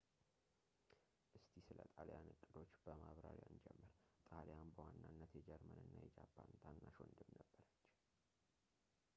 እስቲ ስለ ጣልያን እቅዶች በማብራሪያ እንጀምር ጣሊያን በዋናነት የጀርመን እና የጃፓን ታናሽ ወንድም ነበረች